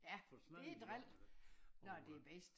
Ja det dril når det er bedst